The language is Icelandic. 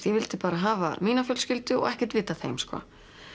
ég vildi bara hafa mína fjölskyldu og ekkert vita af þeim sko